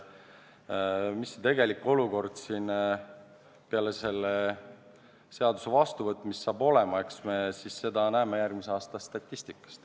Milline see tegelik olukord peale selle seaduse vastuvõtmist saab olema, eks me seda näeme järgmise aasta statistikast.